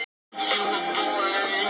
Bara fínt